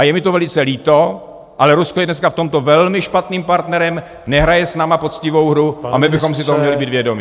A je mi to velice líto, ale Rusko je dneska v tomto velmi špatným partnerem, nehraje s námi poctivou hru a my bychom si toho měli být vědomi.